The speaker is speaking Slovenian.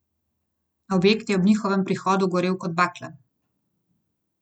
Objekt je ob njihovem prihodu gorel kot bakla.